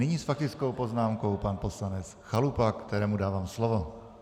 Nyní s faktickou poznámkou pan poslanec Chalupa, kterému dávám slovo.